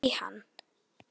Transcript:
Úr Afríku!